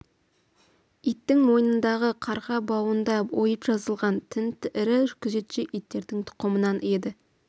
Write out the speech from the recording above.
иттің мойнындағы қарғы бауында ойып жазылған тын ірі күзетші иттердің тұқымынан еді